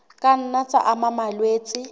ka nna tsa ama malwetse